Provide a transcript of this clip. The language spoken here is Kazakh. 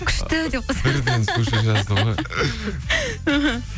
күшті деп қойсам мхм